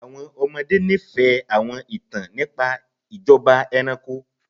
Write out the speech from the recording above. Àwọn ọmọde nifẹ awọn itan nipa ijọba ẹranko